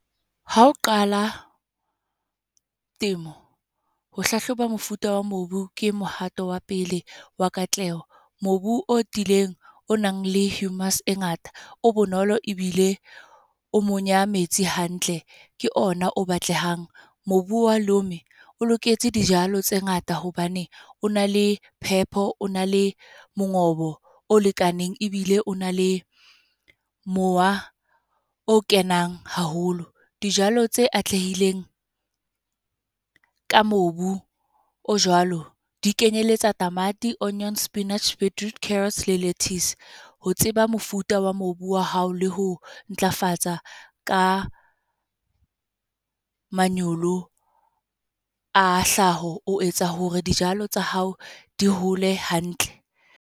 Ha o qala temo, ho hlahloba mofuta wa mobu ke mohato wa pele wa katleho. Mobu o tiileng, o nang le e ngata, o bonolo ebile o monya metsi hantle, ke ona o batlehang. Mobu wa lome, o loketse dijalo tse ngata hobane o na le phepo, o na le mongobo o lekaneng, ebile o na le mowa o kenang haholo. Dijalo tse atlehileng, ka mobu o jwalo di kenyelletsa tamati, onions, spinach, beetroot, carrots le lettuce. Ho tseba mofuta wa mobu wa hao le ho ntlafatsa ka manyolo a hlaha, o etsa hore dijalo tsa hao di hole hantle.